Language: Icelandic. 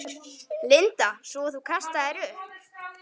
Linda: Svo þú kastaðir upp?